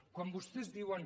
quan vostès diuen